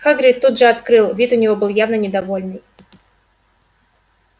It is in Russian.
хагрид тут же открыл вид у него был явно недовольный